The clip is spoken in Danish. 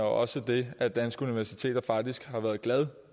også det at danske universiteter faktisk har været glade